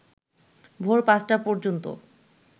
ভোর পাঁচটা পর্যন্ত